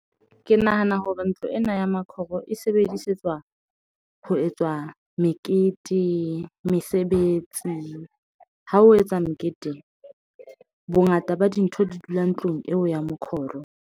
Ke nahana hore ntlo ena ya makhoro e sebedisetswa ho etswa mekete, mesebetsi ha ho etsa mekete bongata ba dintho di dula ntlong eo ya mokhoro.